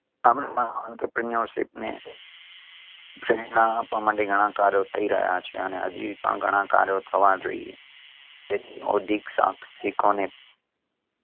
આમ આ entrepreneurship ને પ્રેરણા આપવા માટે ઘણા કાર્યો થઈ રહ્યા છે અને હજી પણ ઘણા કાર્યો થવા જોઈએ. તેની ઔધિક સાહસિકોને